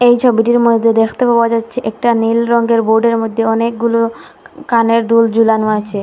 এই ছবিটির মধ্যে দেখতে পাওয়া যাচ্ছে একটা নীল রঙ্গের বোর্ডের মধ্যে অনেকগুলো কানের দুল ঝুলানো আছে।